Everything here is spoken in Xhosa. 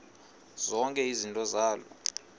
zonke izinto zaloo